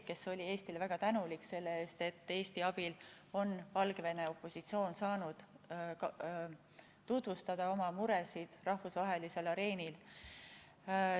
Ta oli Eestile väga tänulik selle eest, et Eesti abil on Valgevene opositsioon saanud tutvustada oma muresid rahvusvahelisel areenil.